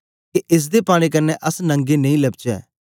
के एस दे पाने कन्ने अस नंगे नेई लबचै